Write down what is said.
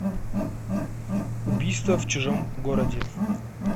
убийство в чужом городе